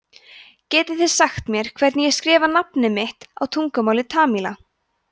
getið þið sagt mér hvernig ég skrifa nafnið mitt á tungumáli tamíla